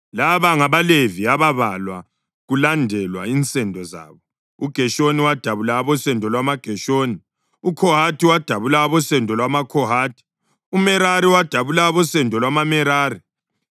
Laba ngabaLevi ababalwa kulandelwa insendo zabo: uGeshoni wadabula abosendo lwamaGeshoni; uKhohathi wadabula abosendo lwamaKhohathi; uMerari wadabula abosendo lwamaMerari.